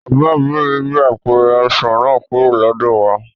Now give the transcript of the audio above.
Bàbá òbí mi gbé apẹ̀rẹ̀ ọsàn náà kúrò lọ́dọ̀ wà